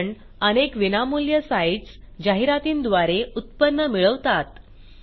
कारण अनेक विनामूल्य साईटस जाहिरातींद्वारे उत्पन्न मिळवतात